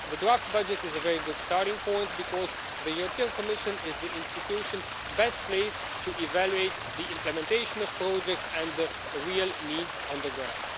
days. The draft budget is a very good starting point because the Commission is the institution best placed to evaluate the implementation of projects and the real needs on the ground.